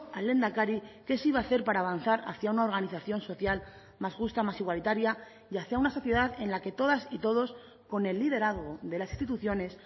al lehendakari qué se iba a hacer para avanzar hacia una organización social más justa más igualitaria y hacia una sociedad en la que todas y todos con el liderazgo de las instituciones